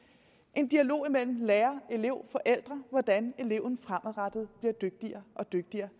en dialog imellem lærere elev og forældre om hvordan eleven fremadrettet bliver dygtigere og dygtigere